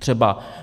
Třeba.